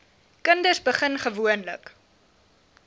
kinders begin gewoonlik